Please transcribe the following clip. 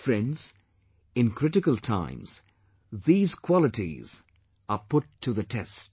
Friends, in critical times, these qualities are put to the test